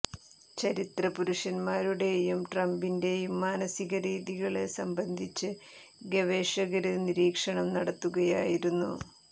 ചരിത്ര പുരുഷന്മാരുടേയും ട്രംപിന്റേയും മാനസിക രീതികള് സംബന്ധിച്ച് ഗവേഷകര് നിരീക്ഷണം നടത്തുകയായിരുന്നു